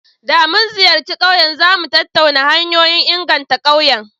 Da mun ziyarci ƙauyen, za mu tattauna hanyoyin inganta ƙauyen.